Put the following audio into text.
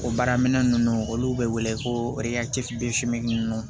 O baara minɛn nunnu olu be wele ko nunnu